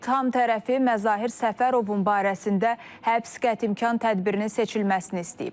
İttiham tərəfi Məzahir Səfərovun barəsində həbs qətimkan tədbirinin seçilməsini istəyib.